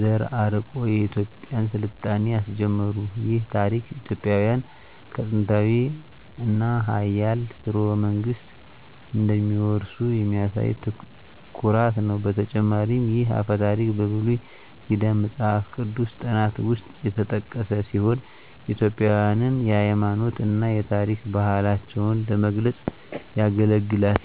ዘር አርቆ የኢትዮጵያን ሥልጣኔ አስጀመሩ። ይህ ታሪክ ኢትዮጵያውያን ከጥንታዊ እና ኃያል ሥርወ መንግሥት እንደሚወርሱ የሚያሳይ ኩራት ነው። በተጨማሪም ይህ አፈ ታሪክ በብሉይ ኪዳን መጽሐፍ ቅዱስ ጥናት ውስጥ የተጠቀሰ ሲሆን ኢትዮጵያውያንን የሃይማኖት እና የታሪክ ባህላቸውን ለመግለጽ ያገለግላል።